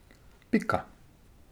Pika.